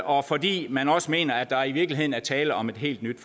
og fordi man også mener at der i virkeligheden er tale om et helt nyt